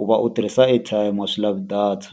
u va u tirhisa airtime a swi lavi data.